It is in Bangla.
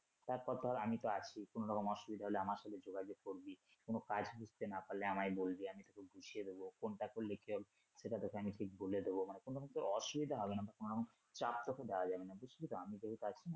তারপর ধর আমি তো আছি কোনরকম অসুবিধা হলে আমার সাথে যোগাযোগ করবি কোন কাজ বুঝতে না পারলে আমায় বলবি আমি তোকে বুঝিয়ে দেবো কোনটা করলে কি হবে সেটা তোকে আমি ঠিক বলে দেবো মানে কোনরকম তোর অসুবিধা হবে না বা কোনরকম চাপ তোকে দেয়া যাবে না বুঝলি তো আমি তোকে কাজ